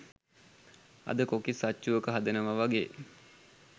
අද කොකිස් අච්චුවක හදනවා වගේ